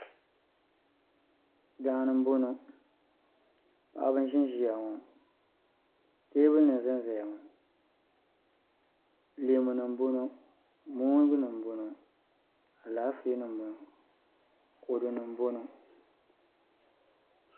Daani n boŋo paɣaba n ʒinʒiya ŋɔ teebuli nim n zanzaya ŋɔ leemunima n boŋo moongunima n boŋɔ alaafeenima n boŋɔ kodunima n boŋɔ